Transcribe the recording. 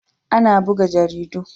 Ana buga jaridu.